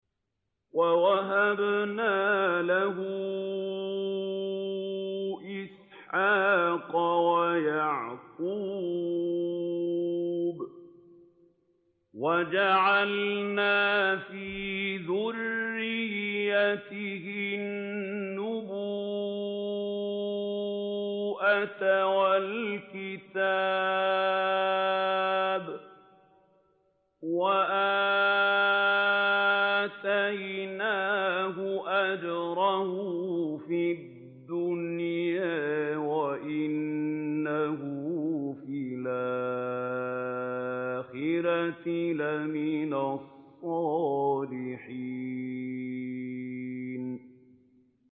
وَوَهَبْنَا لَهُ إِسْحَاقَ وَيَعْقُوبَ وَجَعَلْنَا فِي ذُرِّيَّتِهِ النُّبُوَّةَ وَالْكِتَابَ وَآتَيْنَاهُ أَجْرَهُ فِي الدُّنْيَا ۖ وَإِنَّهُ فِي الْآخِرَةِ لَمِنَ الصَّالِحِينَ